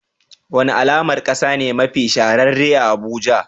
Wani alamar kasa ne mafi shahararre a Abuja?